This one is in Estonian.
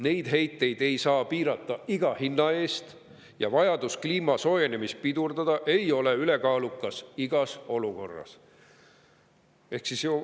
Neid heiteid ei saa piirata iga hinna eest ja vajadus kliima soojenemist pidurdada ei ole ülekaalukas igas olukorras.